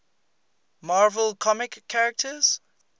marvel comics characters